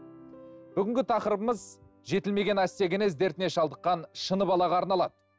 бүгінгі тақырыбымыз жетілмеген остеогенез дертіне шалдыққан шыны балаға арналады